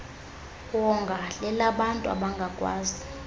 wonga lelabantu abangakwazi